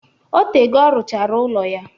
Otego ọ rụchara ụlọ ya